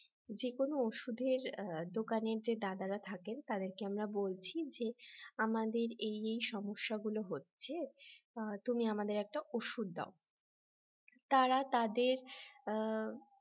যেকোনো ওষুধের দোকানে যে দাদারা থাকেন তাদেরকে আমরা বলছি যে আমাদের এই এই সমস্যাগুলো হচ্ছে তুমি আমাদের একটা ওষুধ দাও তারা তাদের অ্যাঁ